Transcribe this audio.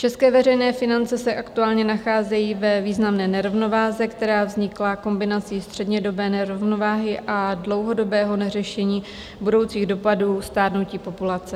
České veřejné finance se aktuálně nacházejí ve významné nerovnováze, která vznikla kombinací střednědobé nerovnováhy a dlouhodobého neřešení budoucích dopadů stárnutí populace.